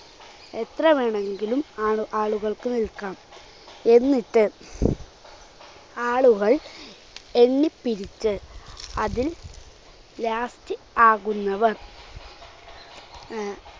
എത്ര വേണമെങ്കിലും ആളുആളുകൾക്ക് നിൽക്കാം. എന്നിട്ട് ആളുകൾ എണ്ണിപ്പിരിച്ച് അതിൽ last ആകുന്നവർ അഹ്